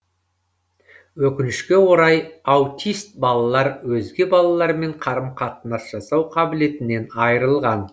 өкінішке орай аутист балалар өзге балалармен қарым қатынас жасау қабілетінен айырылған